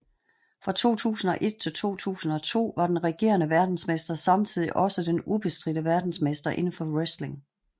Fra 2001 til 2002 var den regerende verdensmester samtidig også den ubestridte verdensmester inden for wrestling